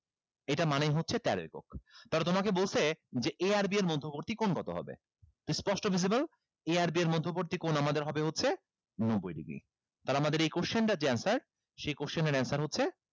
এটা মানেই হচ্ছে তেরো একক তাহলে তোমাকে বলছে যে a আর b এর মধ্যবর্তী কোণ কত হবে তো স্পষ্ট visible a আর b এর মধ্যবর্তী কোণ আমাদের হবে হচ্ছে নব্বই degree তাহলে আমাদের এই question টার যে answer সে question এর answer হচ্ছে